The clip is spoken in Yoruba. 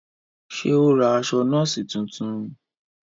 Ṣe o ra aṣọ nọọsi tuntun?